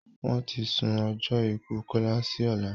Wọ́n ti sún ọjọ́ ikú Kọ́lá si ọ̀lá